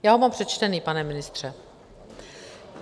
Já ho mám přečtený, pane ministře.